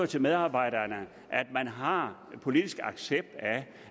til medarbejderne at man har politisk accept af